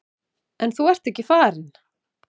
En þú ert ekki farinn.